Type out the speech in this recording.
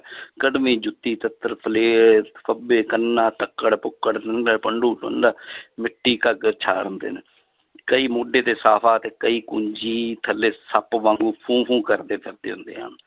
ਕੱਢਮੀ ਜੁੱਤੀ ਫੱਬੇ ਕੰਨਾਂ ਤੱਕੜ ਪੁੱਕੜ ਮਿੱਟੀ ਘਾਗਰ ਕਈ ਮੋਢੇ ਤੇ ਸਾਫ਼ਾ ਤੇ ਕਈ ਕੁੰਜੀ ਥੱਲੇ ਸੱਪ ਵਾਂਗੂ ਫੂੰ ਫੂੰ ਕਰਦੇ ਫਿਰਦੇ ਹੁੰਦੇ ਹਨ